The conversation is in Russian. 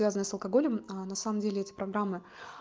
связанные с алкоголем а на самом деле эти программы